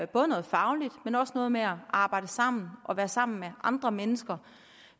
både noget fagligt men også noget med at arbejde sammen og være sammen med andre mennesker